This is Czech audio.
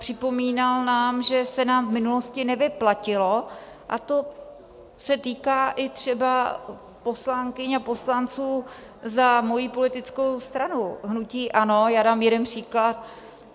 Připomínal nám, že se nám v minulosti nevyplatilo - a to se týká i třeba poslankyň a poslanců za mojí politickou stranu, hnutí ANO, já dám jeden příklad.